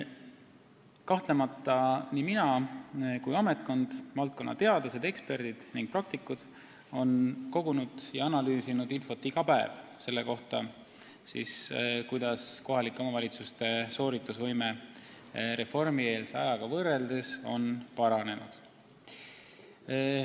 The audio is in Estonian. Kahtlemata olen nii mina kui on ka ametkond – valdkonna teadlased, eksperdid ning praktikud – iga päev kogunud ja analüüsinud infot selle kohta, kuidas on kohalike omavalitsuste sooritusvõime reformieelse ajaga võrreldes paranenud.